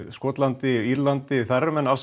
Skotlandi og Írlandi eru menn